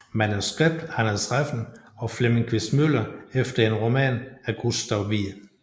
Manuskript Anders Refn og Flemming Quist Møller efter en roman af Gustav Wied